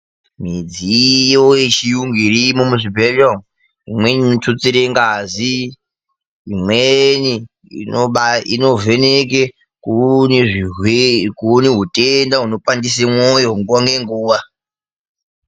Midziyo yechiyungu irimo muzvibhedhlera umu, imweni inotutsire ngazi, imweni inovheneke kuone hutenda hunopandise mwoyo nguva ngenguva.